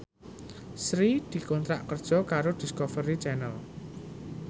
Sri dikontrak kerja karo Discovery Channel